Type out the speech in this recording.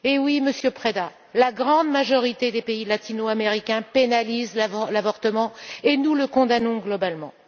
Oui, Monsieur Preda, la grande majorité des pays latino américains pénalisent l'avortement et nous le condamnons globalement.